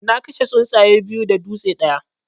Na kashe tsuntsaye biyu da dutse ɗaya.